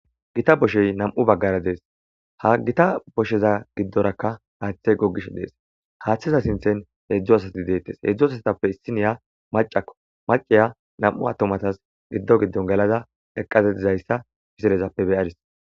Gita boshey nam'u baggara dees ha gita bosheza giddorakka haaththe gogish dees haaththiza sinthen heedzdzo asati deettes heedzdzo asatappe issiniya macakko maciya nam'u attomatas giddo giddon galada eqqazetizayssa piselezappe beyadis.